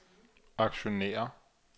aktionærer